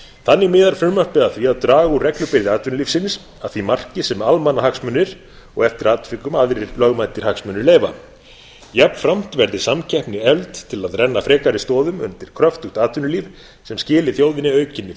þannig miðar frumvarpið að því að draga úr reglubyrði atvinnulífsins að því marki sem almannahagsmunir og eftir atvikum aðrir lögmætir hagsmunir leyfa jafnframt verði samkeppni efld til að renna frekari stoðum undir kröftugt atvinnulíf sem skili þjóðinni aukinni